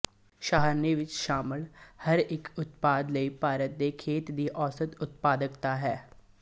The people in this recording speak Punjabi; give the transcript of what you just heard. ਸਾਰਣੀ ਵਿੱਚ ਸ਼ਾਮਲ ਹਰ ਇੱਕ ਉਤਪਾਦ ਲਈ ਭਾਰਤ ਦੇ ਖੇਤਾਂ ਦੀ ਔਸਤ ਉਤਪਾਦਕਤਾ ਹੈ